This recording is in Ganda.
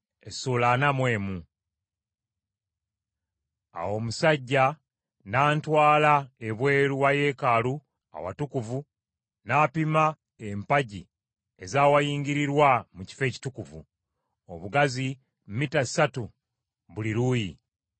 Awo omusajja n’antwala ebweru wa yeekaalu Awatukuvu n’apima empagi ez’awayingirirwa mu kifo ekitukuvu, obugazi mita ssatu buli luuyi.